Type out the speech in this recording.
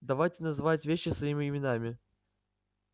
давайте называть вещи своими именами